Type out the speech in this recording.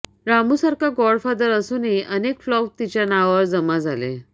रामूसारखा godfather असूनही अनेक flop तिच्या नावावर जमा झाले